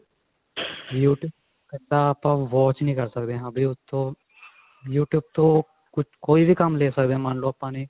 youtube ਕੱਲਾ ਆਪਾਂ watch ਨੀ ਕਰ ਸਕਦੇ ਹਾਂ ਵੀ ਉੱਥੋਂ youtube ਤੋਂ ਕੋਈ ਵੀ ਕੰਮ ਲੈ ਸਕਦੇ ਹਾਂ ਮੰਨਲੋ ਆਪਾਂ ਨੇ